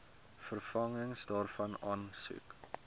vervanging daarvan aansoek